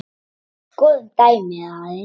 Skoðum dæmið aðeins.